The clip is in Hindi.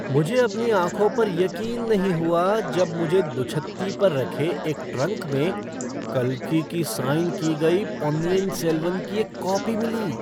मुझे अपनी आँखों पर यकीन नहीं हुआ जब मुझे दुछत्ती पर रखे एक ट्रंक में कल्कि की साइन की गई पोन्नियिन सेल्वन की एक कॉपी मिली!